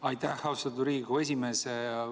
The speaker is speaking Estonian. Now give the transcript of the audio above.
Aitäh, austatud Riigikogu esimees!